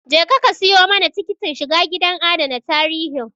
Je ka ka siyo mana tikitin shiga gidan adana tarihin